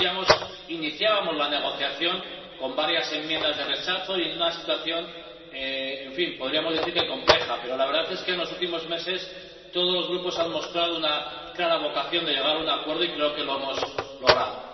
como decíamos, iniciábamos la negociación con varias enmiendas de rechazo y en una situación podríamos decir que compleja. Pero la verdad es que en los últimos meses todos los grupos han mostrado una clara vocación de llegar a un acuerdo y creo que lo hemos logrado.